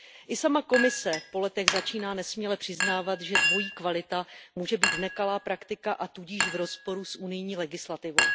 I sama Komise po letech začíná nesměle přiznávat, že dvojí kvalita může být nekalá praktika, a tudíž v rozporu s unijní legislativou.